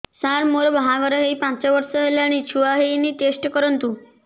ସାର ମୋର ବାହାଘର ହେଇ ପାଞ୍ଚ ବର୍ଷ ହେଲାନି ଛୁଆ ହେଇନି ଟେଷ୍ଟ କରନ୍ତୁ